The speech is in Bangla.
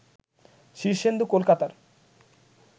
শীর্ষেন্দু কলকাতার